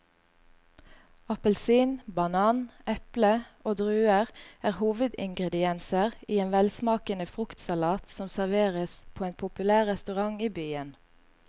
Appelsin, banan, eple og druer er hovedingredienser i en velsmakende fruktsalat som serveres på en populær restaurant i byen.